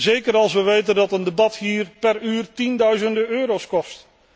Zeker als wij weten dat een debat hier per uur tienduizenden euro kost.